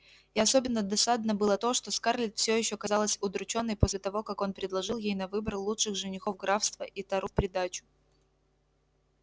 и особенно досадно было то что скарлетт всё ещё казалась удручённой после того как он предложил ей на выбор лучших женихов графства и тару в придачу